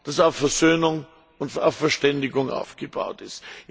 das auf Versöhnung und Verständigung aufgebaut ist.